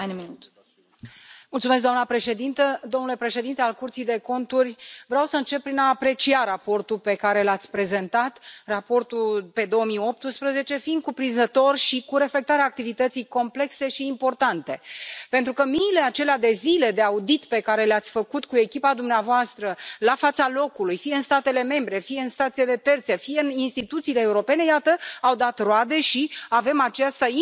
Doamna președintă, Domnule Președinte al Curții de Conturi, vreau să încep prin a aprecia raportul pe care l ați prezentat, raportul pe 2018, fiind cuprinzător și cu reflectarea activității complexe și importante, pentru că miile acelea de zile de audit pe care le ați făcut cu echipa dumneavoastră la fața locului, fie în statele membre, fie în statele terțe, fie în instituțiile europene, iată, au dat roade și avem această involuție a